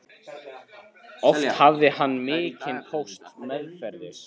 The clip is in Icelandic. Oft hafði hann mikinn póst meðferðis.